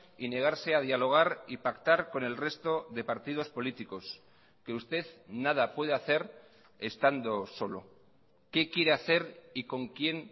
y negarse a dialogar y pactar con el resto de partidos políticos que usted nada puede hacer estando solo qué quiere hacer y con quién